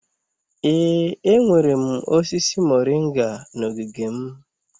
Ee, enwere m osisi moringa na ogige m.